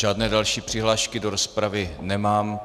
Žádné další přihlášky do rozpravy nemám.